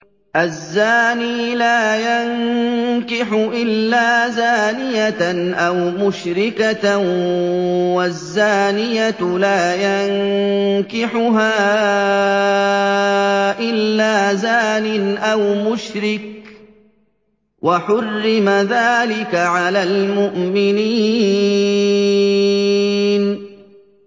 الزَّانِي لَا يَنكِحُ إِلَّا زَانِيَةً أَوْ مُشْرِكَةً وَالزَّانِيَةُ لَا يَنكِحُهَا إِلَّا زَانٍ أَوْ مُشْرِكٌ ۚ وَحُرِّمَ ذَٰلِكَ عَلَى الْمُؤْمِنِينَ